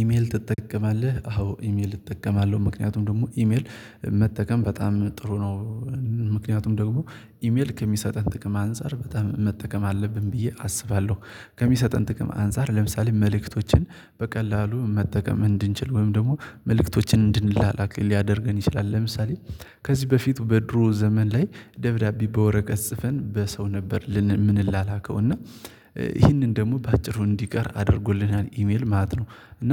ኢሜል ትጠቀማለህ አዎ ኢሜል እጠቀማለሁ ምክንያቱም ደግሞ ኢሜል መጠቀም በጣም ጥሩ ነው። ምክንያቱም ደግሞ ኢሜል ከሚሰጠን ጥቅም አንፃር በጣም መጠቀም አለብን ብዬ አስባለሁ ከሚሰጠን ጥቅም አንፃር ለምሳሌ መልእክቶችን በቀላሉ መጠቀም እንድንችል ወይም ደግሞ መልእክቶችን እንድንላላክ ሊያደርገን ይችላል ለምሳሌ ከዚህ በፊቱ በድሮ ዘመን ላይ ደብዳቤ በወረቀት ጽፈን በሰው ነበር ምንላላከው እና ይህንን ደግሞ በአጭሩ እንዲቀር አድርጎልናል ኢሜል ማለት ነው እና